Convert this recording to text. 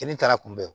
Kini taara kunbɛ